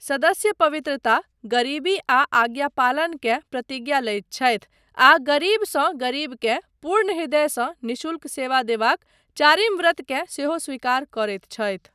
सदस्य पवित्रता, गरीबी आ आज्ञापालन केँ प्रतिज्ञा लैत छथि आ गरीबसँ गरीबकेँ पूर्ण हृदयसँ निःशुल्क सेवा देबाक चारिम व्रतकेँ सेहो स्वीकार करैत छथि।